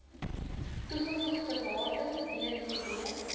toegevoegde waarde btw